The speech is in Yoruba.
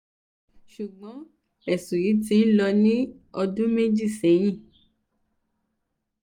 ṣùgbọ́n ẹ̀sùn yìí ti ń lọ ní ọdún méjì sẹ́yìn